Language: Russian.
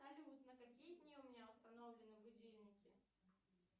салют на какие дни у меня установлены будильники